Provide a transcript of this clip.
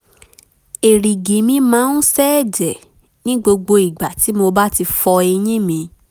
èrìgì mi máa ń ṣẹẹ̀jẹ̀ ní gbogbo ìgbà tí mo bá ti fọ eyín mi